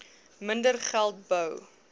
minder geld bou